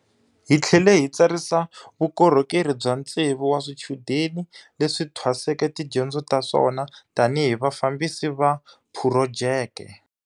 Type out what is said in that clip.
Hi tlhele hi tsarisa vukorhokeri bya tsevu wa swichudeni leswi thwaseke tidyondzo ta swona tanihi hi Vafambisi va Phurojeke.